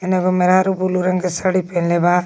एने एगो मेहरारू बुलु रंग के साड़ी पेन्हले बा।